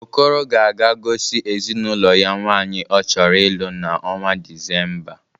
Okoro ga-aga gosi ezinaụlọ ya nwaanyị ọ chọrọ ịlụ n'ọnwa Disemba.